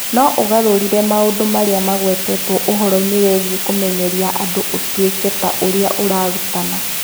No ũgarũre maũndũ marĩa magwetetwo ũhoro-inĩ wĩgiĩ kũmenyeria andũ ũtuĩke ta ũrĩa ũrarutana